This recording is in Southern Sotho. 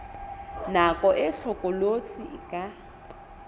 nako e hlokolosi e ka